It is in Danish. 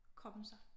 Komme sig